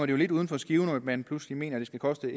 det lidt uden for skiven når man pludselig mener det skal koste